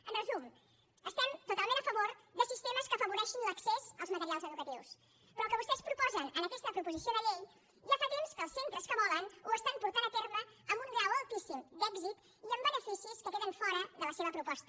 en resum estem totalment a favor de sistemes que afavoreixin l’accés als materials educatius però el que vostès proposen en aquesta proposició de llei ja fa temps que els centres que volen ho estan portant a terme amb un grau altíssim d’èxit i amb beneficis que queden fora de la seva proposta